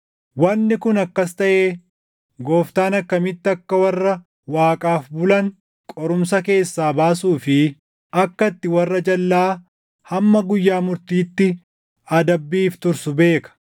wanni kun akkas taʼee Gooftaan akkamitti akka warra Waaqaaf bulan qorumsa keessaa baasuu fi akka itti warra jalʼaa hamma guyyaa murtiitti adabbiif tursu beeka.